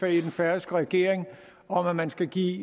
den færøske regering om at man skal give